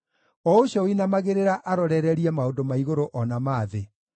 o ũcio ũinamagĩrĩra arorererie maũndũ ma igũrũ o na ma thĩ?